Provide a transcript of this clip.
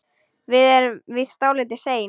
Við erum víst dálítið sein.